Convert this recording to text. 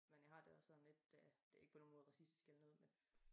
Men jeg har dte også sådan lidt det øh det ikke på nogen måde racistisk eller noget